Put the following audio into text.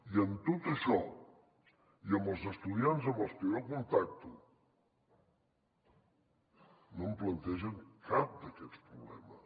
i en tot això i amb els estudiants amb els que jo contacto no em plantegen cap d’aquests problemes